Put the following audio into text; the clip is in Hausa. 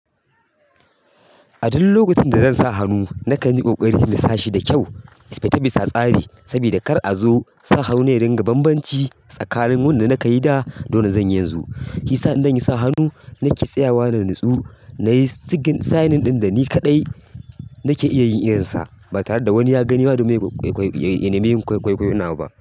A duk lokacin da zan sa hannu, na kan yi ƙoƙari na sa shi da kyau, bisa tsari. Sabida kar a zo sa hannu ya dinga bambanci tsakanin wanda na kayi da dole zan yi yanzu. Shiyasa in zan yi sa hannu na ke tsayawa na natsu, na yi sigin signing ɗin da ni kaɗai nake iya yin irinsa ba tare da wani ya gani ba domin ya nemi yin kwaikwayo nawa ba.